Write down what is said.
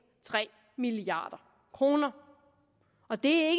tre milliard kroner og det